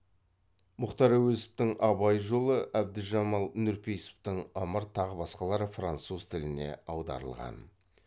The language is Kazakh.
мұхтар әуезовтің абай жолы әбдіжамал нұрпейісовтің ымырт тағы басқалары француз тіліне аударылған